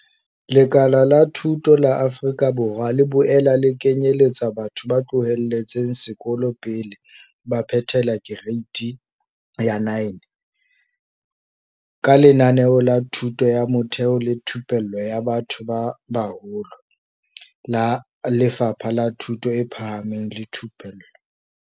Lekala la thuto la Afrika Borwa le boela le kenyeletsa batho ba tloheletseng sekolo pele ba phethela Kereite ya 9, ka Lenaneo la Thuto ya Motheo le Thupello ya Batho ba Baholo, ABET, la Lefapha la Thuto e Phahameng le Thupello.